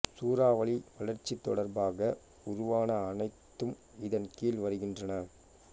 சூறாவளி வளர்ச்சி தொடர்பாக உருவான அனைத்தும் இதன் கீழ் வருகின்றன